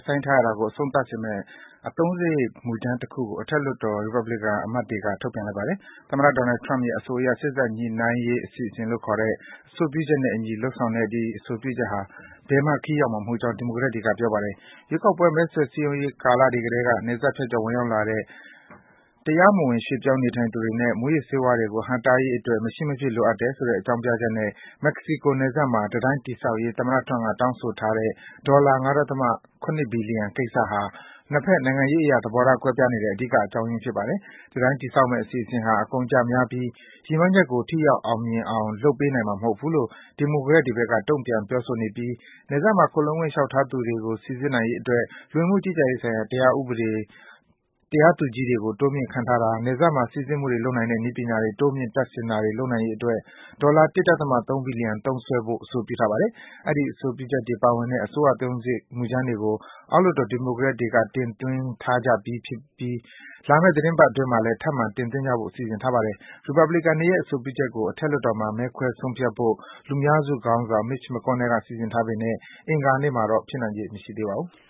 ဆိုင်းထားရတာကို အဆုံးသတ်စေမယ့် အသုံးစားရိတ် မူကြမ်းတခုကို အထက်လွှတ်တော် ရီပတ်ဘလီကန် အမတ်တွေက ထုတ်ပြန်လိုက်ပါတယ်။ သမ္မတ Donald Trump ရဲ့အဆိုအရ စေ့စပ်ညှိနှိုင်းရေး အစီအစဉ်လို့ ခေါ်တဲ့ အဆိုပြုချက်နဲ့အညီ လုပ်ဆောင်တဲ့ ဒီ အဆိုပြုချက်ဟာ ဘယ်မှ ခရီးရောက်မှာ မဟုတ်ကြောင်း ဒီမိုကရက်တွေက ပြောပါတယ်။ ရွေးကောက်ပွဲ မဲဆွယ် စည်းရုံးရေးကာလတွေကတည်းက နယ်စပ်ဖြတ်ကျော် ဝင်ရောက်လာတဲ့ တရားမဝင် ရွေ့ပြောင်း နေထိုင်သူတွေနဲ့ မူးယစ်ဆေးဝါးတွေကို ဟန့်တားရေးအတွက် မရှိမဖြစ် လိုအပ်တယ်ဆိုတဲ့ အကြောင်းပြချက်နဲ့ မက္ကဆီကို နယ်စပ်မှာ တံတိုင်း တည်ဆောက်ရေး သမ္မတ Trump က တောင်းဆိုထားတဲ့ ဒေါ်လာ ၅.၇ ဘီလီယံကိစ္စဟာ နှစ်ဘက် နိုင်ငံရေးအရ သဘောထားကွဲပြားနေတဲ့ အဓိက အကြောင်းရင်း ဖြစ်ပါတယ်။ တံတိုင်းတည်ဆောက်မယ့် အစီအစဉ်ဟာ အကုန်အကျများပြီး ရည်မှန်းချက်ကို ထိရောက် အောင်မြင်အောင် လုပ်ပေးနိုင်မှာ မဟုတ်ဘူးလို့ ဒီမိုကရက်တွေဘက်က တုန့်ပြန် ပြောဆိုနေပြီး နယ်စပ်မှာ ခိုလှုံခွင့် လျှောက်ထားသူတွေ စိစစ်နိုင်ရေးအတွက် လူဝင်မှု ကြီးကြပ်ရေးဆိုင်ရာ တရားသူကြီးတွေ တိုးမြင့် ခန့်ထားတာ၊ နယ်စပ်မှာ စိစစ်မှုတွေ လုပ်နိုင်တဲ့ နည်းပညာတွေ တိုးမြင့် တပ်ဆင်တာတွေ လုပ်နိုင်ရေးအတွက် ဒေါ်လာ ၁.၃ ဘီလီယံ သုံးစွဲဖို့ အဆိုပြုထားပါတယ်။ အဲဒီ အဆိုပြုချက်တွေ ပါဝင်တဲ့ အစိုးရအသုံးစားရိတ် မူကြမ်းတွေကို အောက်လွှတ်တော် ဒီမိုကရက်တွေက အဆိုပြုထားကြပြီး လာမယ့် သီတင်းပတ်အတွင်းမှာလည်း ထပ်မံ အဆိုပြုကြဖို့ စီစဉ်ထားပါတယ်။ ရီပတ်ဘလီကန်တွေရဲ့ အဆိုပြုချက်ကို အထက်လွှတ်တော်မှာ မဲခွဲ ဆုံးဖြတ်ဖို့ လူများစုခေါင်းဆောင် Mitch McConnell က စီစဉ်ထားပေမယ့် အင်္ဂါနေ့မှာတော့ ဖြစ်နိုင်ချေ မရှိပါဘူး။